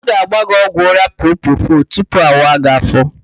A ga-agba gị ọgwụ ụ́rá propofọl tupu awa gị áfó.